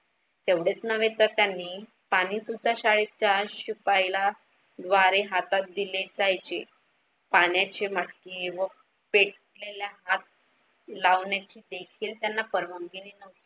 तेव्हडेच न्हवे तर पाणीसुद्धा शाळेच्या शिपाईला द्वारे हातात दिले जायचे. पाण्याचे मटके व पेटलेल्या हात लावण्याची देखील त्यांना परवानगी न्हवती.